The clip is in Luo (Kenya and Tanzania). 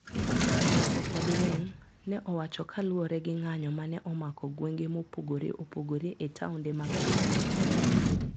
Okwabiling`, ne owacho kaluwore gi ng`anyo ma ne omako gwenge mopogore opogore e taonde mag pinyno..